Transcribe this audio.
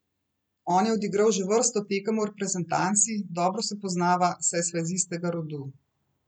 On je odigral že vrsto tekem v reprezentanci, dobro se poznava, saj sva iz istega rodu.